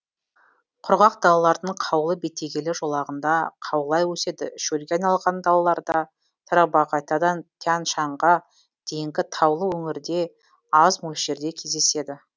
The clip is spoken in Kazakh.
құрғақ далалардың қаулы бетегелі жолағында қаулай өседі шөлге айналған далаларда тарбағатайдан тянь шаньға дейінгі таулы өңірде аз мөлшерде кездеседі